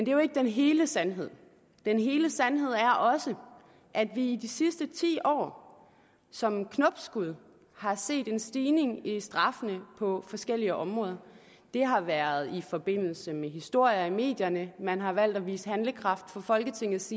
jo ikke den hele sandhed den hele sandhed er også at vi i de sidste ti år som knopskud har set en stigning i længden af straffene på forskellige områder det har været i forbindelse med historier i medierne at man har valgt at vise handlekraft fra folketingets